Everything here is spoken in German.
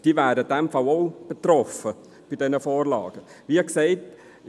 Diese wären in diesem Fall ebenfalls von den Vorgaben betroffen.